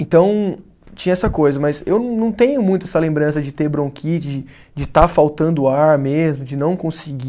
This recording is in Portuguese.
Então, tinha essa coisa, mas eu não tenho muito essa lembrança de ter bronquite, de de estar faltando ar mesmo, de não conseguir.